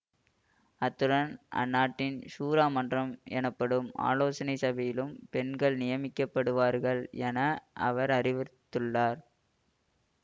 அத்துடன் அந்நாட்டின் ஷூரா மன்றம் எனப்படும் ஆலோசனை சபையிலும் பெண்கள் நியமிக்கப்படுவார்கள் என அவர் அறிவித்துள்ளார்